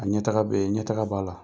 A ɲɛ taga be yen. Ɲɛ taga b'a la.